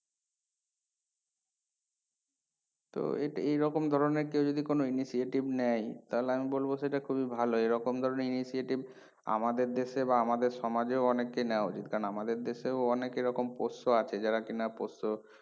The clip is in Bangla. তো এটা এই রকম ধরণের কেউ যদি কোনো initiative নেয় তাহলে আমি বলবো সেটা খুবই ভালো এইরকম ধরণের initiative আমাদের দেশে বা আমাদের সমাজেও অনেকের নেওয়া উচিৎ কারণ আমাদের দেশেও অনেক এইরকম পোষ্য আছে যারা কিনা পোষ্য